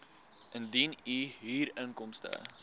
indien u huurinkomste